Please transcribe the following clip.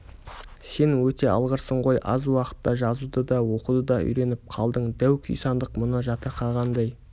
сен өте алғырсың ғой аз уақытта жазуды да оқуды да үйреніп қалдың дәу күйсандық мұны жатырқағандай